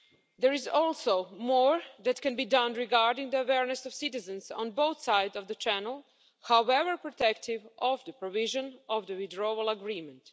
There is also more that can be done regarding the awareness of citizens on both sides of the channel, however protective the provisions of the Withdrawal Agreement.